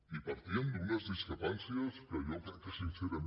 i partíem d’unes discrepàncies que jo crec que sincerament